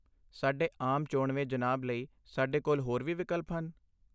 ਸਾਡੇ ਆਮ ਚੋਣਵੇਂ ਜਨਾਬ ਲਈ ਸਾਡੇ ਕੋਲ ਹੋਰ ਕੀ ਵਿਕਲਪ ਹਨ?